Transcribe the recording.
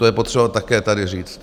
To je potřeba také tady říct.